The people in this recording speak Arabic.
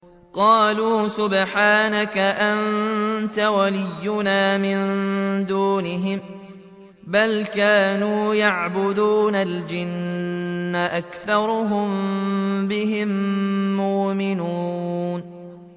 قَالُوا سُبْحَانَكَ أَنتَ وَلِيُّنَا مِن دُونِهِم ۖ بَلْ كَانُوا يَعْبُدُونَ الْجِنَّ ۖ أَكْثَرُهُم بِهِم مُّؤْمِنُونَ